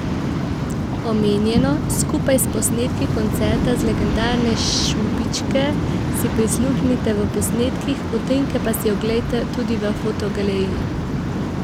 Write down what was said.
Omenjeno, skupaj s posnetki koncerta z legendarne Šubičke, si prisluhnite v posnetkih, utrinke pa si oglejte tudi v fotogaleriji!